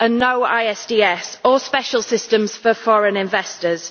and no ISDS or special systems for foreign investors.